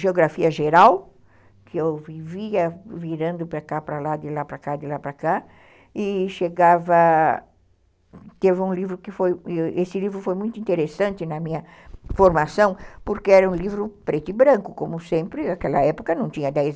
Geografia Geral, que eu vivia virando para cá, para lá, de lá para cá, de lá para cá, e chegava, teve um livro que foi, esse livro foi muito interessante na minha formação, porque era um livro preto e branco, como sempre, naquela época não tinha dez